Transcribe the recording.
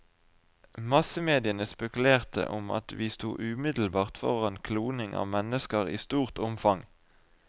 Massemediene spekulerte om at vi sto umiddelbart foran kloning av mennesker i stort omfang.